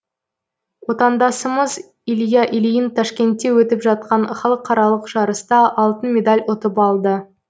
отандасымыз илья ильин ташкентте өтіп жатқан халықаралық жарыста алтын медаль ұтып алды